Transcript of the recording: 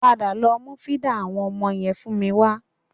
Padà lọ mú fídà àwọn ọmọ yẹn fún mi wa